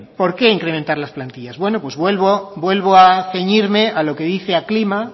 por qué incrementar las plantillas bueno pues vuelvo a ceñirme a lo que dice aclima